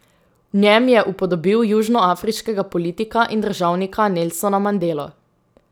V njem je upodobil južnoafriškega politika in državnika Nelsona Mandelo.